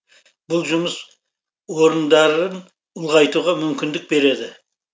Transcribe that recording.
бұл жұмыс орындарын ұлғайтуға мүмкіндік береді